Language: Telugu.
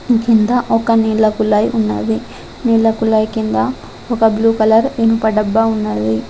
కింద ఒక నీళ్ల కులాయి ఉన్నది నీళ్ల కులాయి కింద ఒక బ్లూ కలర్ ఇనుప డబ్బా ఉన్నది.